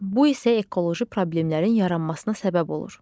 Bu isə ekoloji problemlərin yaranmasına səbəb olur.